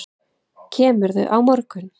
Kemurðu á morgun?